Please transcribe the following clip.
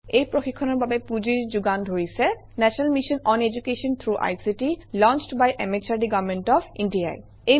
এই প্ৰশিক্ষণৰ বাবে পুঁজিৰ যোগান ধৰিছে national mission on education through ICT launched by MHRD government of India E